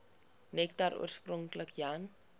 nektar oorspronklik jan